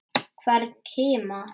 Hvern kima.